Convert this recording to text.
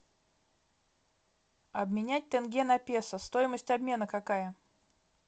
обменять тенге на песо стоимость обмена какая